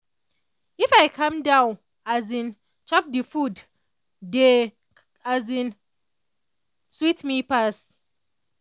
if i calm down as in chop the food dey as in sweet me pass.